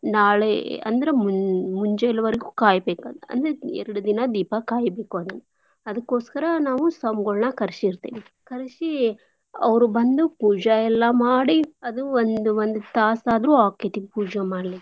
ನಾ~ ನಾಳೇ ಅಂದ್ರ ಮ್~ ಮುಂಜಾಲ್ವರ್ಗು ಕಾಯ್ಬೇಕ್ ಅದ್ನ ಅಂದ್ರ ಎರಡ್ ದಿನ ದೀಪ ಕಾಯ್ಬೇಕು ಅದ್ನ. ಅದಕೋಸ್ಕರ ನಾವು ಸ್ವಾಮ್ಗುಳನಾ ಕರ್ಶಿರ್ತೀವಿ. ಕರ್ಶಿ ಅವ್ರ್ ಬಂದು ಪೂಜಾಯೆಲ್ಲಾ ಮಾಡಿ ಅದು ಒಂ~ ಒಂದ್ ತಾಸ್ ಆದ್ರು ಆಕ್ಕೆತಿ ಪೂಜ ಮಾಡ್ಲಿಕೆ.